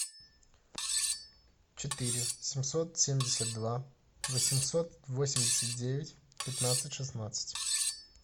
четыре семьсот семьдесят два восемьсот восемьдесят девять пятнадцать шестнадцать